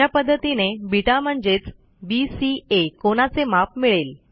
अशा पध्दतीने बेटा म्हणजेच बीसीए कोनाचे माप मिळेल